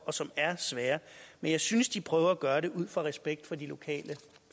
og som er svære men jeg synes de prøver at gøre det ud fra respekt for de lokale